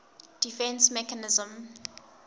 defence mechanism